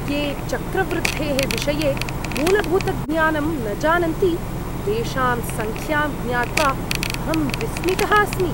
ये चक्रवृद्धेः विषये मूलभूतज्ञानं न जानन्ति, तेषां सङ्ख्यां ज्ञात्वा अहं विस्मितः अस्मि।